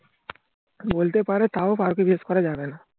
বলতে পারে তাও পারুকে guess করা যাবেনা